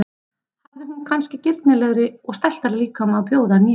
Hafði hún kannski girnilegri og stæltari líkama að bjóða en ég?